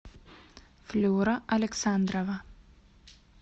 флюра александрова